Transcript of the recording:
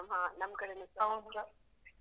ಹಾ ನಮ್ಕಡೆನು ಸ ಇತ್ತು.